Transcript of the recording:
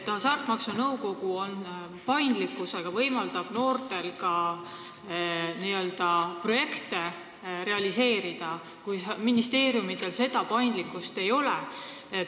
Hasartmängumaksu Nõukogu oma paindlikkusega võimaldab noortel ka projekte realiseerida, ministeeriumidel seda paindlikkust ei ole.